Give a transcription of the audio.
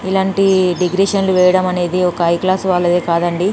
ఇలాంటి డెకరేషన్ వేయడం అనేది ఒక హై క్లాస్ వాళ్ళదే కాదండి.